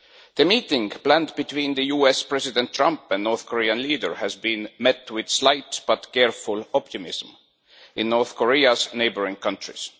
The meeting planned between the US President, Mr Trump, and the North Korean leader has been met with slight but careful optimism in North Korea's neighbouring countries.